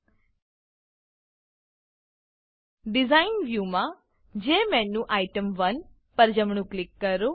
design design વ્યુમાં જેમેન્યુટેમ1 પર જમણું ક્લિક કરો